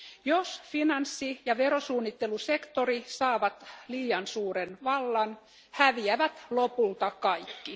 Jos finanssi ja verosuunnittelusektori saavat liian suuren vallan, häviävät lopulta kaikki.